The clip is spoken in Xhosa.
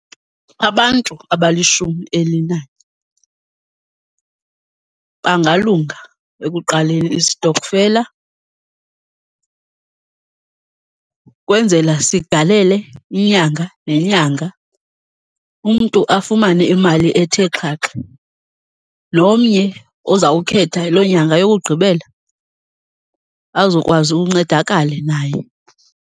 Abantu abalishumi elinanye bangalunga ekuqaleni isitokfela kwenzela sigalele inyanga nenyanga, umntu afumane imali ethe xhaxhe. Nomnye ozawukhetha loo nyanga yokugqibela azokwazi uncedakale naye.